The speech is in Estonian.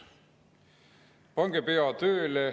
Pange pea tööle.